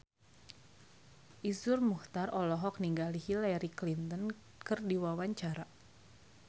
Iszur Muchtar olohok ningali Hillary Clinton keur diwawancara